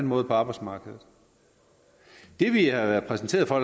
måde på arbejdsmarkedet det vi har været præsenteret for